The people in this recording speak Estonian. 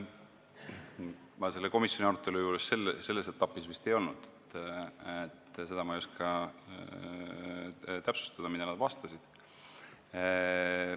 Ma komisjoni arutelu selle etapi juures vist ei olnud, seda ma ei oska täpsustada, mida nad vastasid.